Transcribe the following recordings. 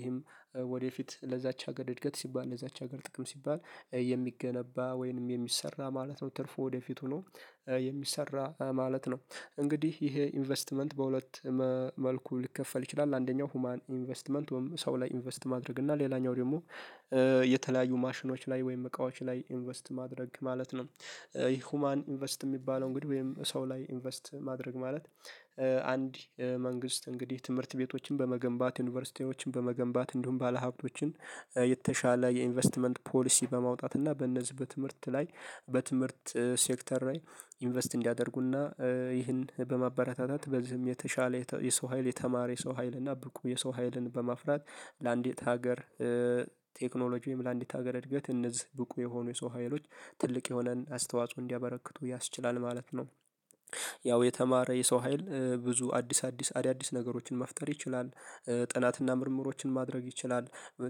ይሄም- ወደፊት ለዛች ሀገር እድገት ሲባል :ለዛች ሀገር ጥቅም ሲባል የሚገነባ ወይንም የሚሰራ ማለት ነው። ትርፉ ወደፊቱ ሆኖ የሚሰራ ማለት ነው። እንግዲህ ይሄ ኢንቨስትመንት በሁለት መልኩ ሊከፈል ይችላል። አንደኛው ሁማን ኢንቨስትመንት ወይም ሰው ላይ ኢንቨስት ማድረግ እና ሌላኛው ደግሞ- የተለያዩ ማሽኖች ላይ ወይም እቃዎች ላይ ኢንቨስት ማድረግ ማለት ነው። ሁማን ኢንቨስት የሚባለውን እንግዲህ ወይም ሰው ላይ ኢንቨስት ማድረግ ማለት- አንድ መንግስት እንግዲህ ትምህርት ቤቶችን በመገንባት: ዩኒቨርሲቲዎችን በመገንባት እንዲሁም ባለሀብቶችን የተሻለ የኢንቨስትመንት ፖሊሲ በማውጣት እና በነዚህ በትምህርት ላይ በትምህርት ሴክተር ላይ ኢንቨስት እንዲያደርጉና- ይህን በማበረታታት በዚህም የተሻለ የሰው ሀይል: የተማረ የሰው ሀይል: እና ብቁ የሰው ሀይልን በማፍራት ለአንዲት ሀገር- ቴክኖሎጂም ለአንዲት ሀገር እድገት እነዚህ ብቁ የሆኑ የሰው ሀይሎች ትልቅ የሆነን አስተዋጽኦ እንዲያበረክቱ ያስችላል ማለት ነው። ያው የተማረ የሰው ሀይል ብዙ አዲስ አዲስ አዳዲስ ነገሮችን መፍጠር ይችላል። ጥናትና ምርምሮችን ማድረግ ይችላል።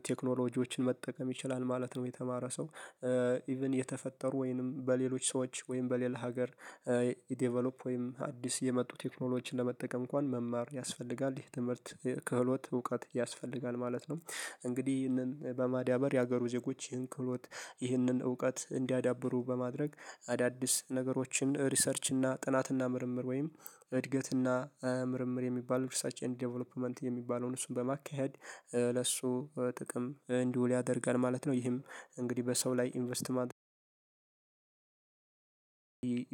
ቴክኖሎጂዎችን መጠቀም ይችላል ማለት ነው የተማረ ሰው። ኢቭን የተፈጠሩ ወይንም በሌሎች ሰዎች ወይንም በሌላ ሀገር- ዴቨሎፕ ወይንም አዲስ የመጡ ቴክኖሎችን ለመጠቀም እንኳን መማር ያስፈልጋል። ይህ ትምህርት ክህሎት እውቀት ያስፈልጋል ማለት ነው። እንግዲህ ይህንን በማዳበር የሀገሩ ዜጎች ይህን ክህሎት ይህንን እውቀት እንዲያዳብሩ በማድረግ አዳዲስ ነገሮችን ሪሰርች እና ጥናት እና ምርምር ወይም- እድገት እና ምርምር የሚባለው ሪሰርች ዴቨሎፕመንት የሚባለውን እሱን በማካሄድ- ለሱ ጥቅም እንዲውል ያደርጋል ማለት ነው። ይህም እንግዲህ በሰው ላይ ኢንቨስት ማድረግ-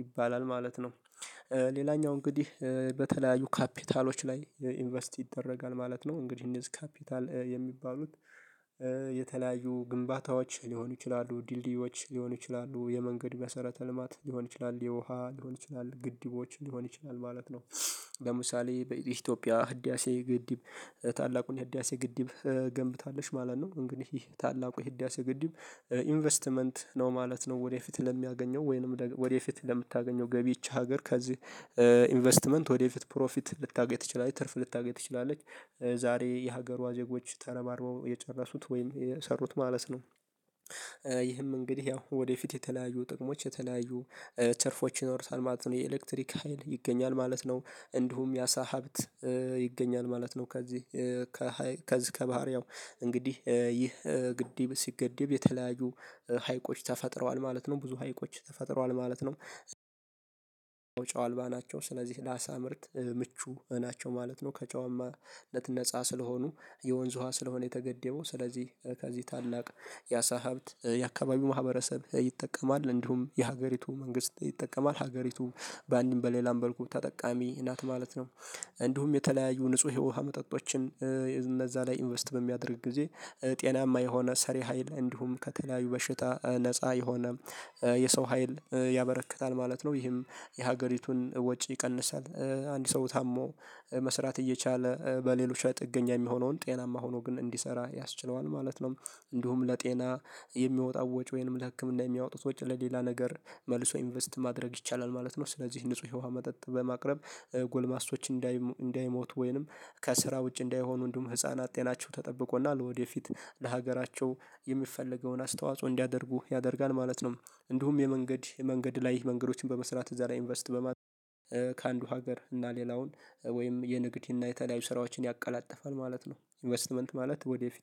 ይባላል ማለት ነው። ሌላኛው እንግዲህ በተለያዩ ካፒታሎች ላይ ኢንቨስት ይደረጋል ማለት ነው። እንግዲህ እነዚህ ካፒታል የሚባሉት- የተለያዩ ግንባታዎች ሊሆኑ ይችላሉ። ድልድዮች ሊሆኑ ይችላሉ። የመንገድ መሰረተ ልማት ሊሆን ይችላል። የውሃ ሊሆን ይችላል። ግድቦች ሊሆን ይችላል ማለት ነው። ለምሳሌ በኢትዮጵያ ህዳሴ ግድብ ታላቁን ህዳሴ ግድብ ገንብታለች ማለት ነው። እንግዲህ ታላቁ የህዳሴ ግድብ- ኢንቨስትመንት ነው ማለት ነው። ወደፊት ለሚያገኘው ወይንም ወደፊት ለምታገኘው ገቢ ይች ሀገር ከዚህ- ኢንቨስትመንት ወደፊት ፕሮፊት ልታገኝ ትችላለች። ትርፍ ልታገኝ ትችላለች። ዛሬ የሀገሯ ዜጎች ተረባርበው የጨረሱት ወይም የሰሩት ማለት ነው። ይህም እንግዲህ ያው ወደፊት የተለያዩ ጥቅሞች የተለያዩ ትርፎች ይኖሩታል ማለት ነው። የኤሌክትሪክ ሀይል ይገኛል ማለት ነው። እንዲሁም የአሳ ሀብት ይገኛል ማለት ነው። ከዚህ- ከዚህ ከባህሪያው እንግዲህ ይህ ግድብ ሲገደብ የተለያዩ ሀይቆች ተፈጥረዋል ማለት ነው። ብዙ ሀይቆች ተፈጥረዋል ማለት ነው። ጨው አልባ ናቸው። ስለዚህ ለአሳ ምርት ምቹ ናቸው ማለት ነው። ከጨዋማነት ነፃ ስለሆኑ የወንዝ ውሃ ስለሆነ የተገደበው። ስለዚህ ከዚህ ታላቅ የአሳ ሀብት የአካባቢው ማህበረሰብ ይጠቀማል። እንዲሁም የሀገሪቱ መንግስት ይጠቀማል። ሀገሪቱም በአንድም በሌላም መልኩ ጠቃሚ ናት ማለት ነው። እንዲሁም የተለያዩ ንጹህ የውሃ መጠጦችን እነዛ ላይ ኢንቨስት በሚያደርግ ጊዜ ጤናማ የሆነ ሰሪ ሀይል እንዲሁም ከተለያዩ በሽታ ነፃ የሆነ- የሰው ሀይል ያበረክታል ማለት ነው። ይህም የሀገሪቱን ወጪ ይቀንሳል። አንድ ሰው ታሞ መስራት እየቻለ በሌሎች ላይ ጥገኛ የሚሆነውን ጤናማ ሆኖ ግን እንዲሰራ ያስችለዋል ማለት ነው እንዲሁም ለጤና የሚወጣ ወጪ ወይንም ለህክምና የሚያወጡት ወጪ ለሌላ ነገር መልሶ ኢንቨስት ማድረግ ይቻላል ማለት ነው። ስለዚህ ንጹህ የዉሃ መጠጥ በማቅረብ ጎልማሶች- እንዳይሞቱ ወይንም ከስራ ውጪ እንዳይሆኑ እንዲሁም ህፃናት ጤናቸው ተጠብቆ ና ለወደፊት ለሀገራቸው የሚፈለገውን አስተዋጽኦ እንዲያደርጉ ያደርጋል ማለት ነው። እንዲሁም የመንገድ የመንገድ ላይ መንገዶችን በመስራት እዛ ላይ ኢንቨስት በማድረግ- ከአንዱ ሀገር እና ሌላውን ወይም የንግድ እና የተለያዩ ስራዎችን ያቀላጥፋል ማለት ነው። ኢንቨስትመንት ማለት ወደፊት-